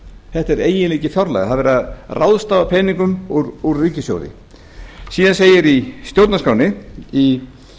þetta er eiginleiki fjárlaga það er verið að ráðstafa peningum úr ríkissjóði síðan segir í stjórnarskránni í